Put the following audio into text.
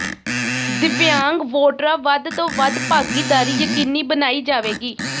ਦਿਵਿਆਂਗ ਵੋਟਰਾਂ ਵੱਧ ਤੋਂ ਵੱਧ ਭਾਗੀਦਾਰੀ ਯਕੀਨੀ ਬਣਾਈ ਜਾਵੇਗੀ